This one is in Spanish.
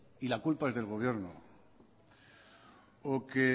y la culpa es del gobierno o que